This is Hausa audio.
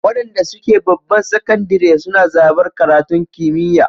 Waɗanda suke babban sakandire suna zaɓar karatun kimiyya